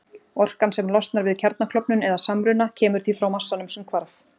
Orkan sem losnar við kjarnaklofnun eða-samruna kemur því frá massanum sem hvarf.